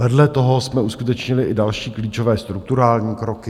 Vedle toho jsme uskutečnili i další klíčové strukturální kroky.